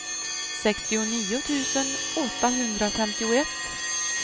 sextionio tusen åttahundrafemtioett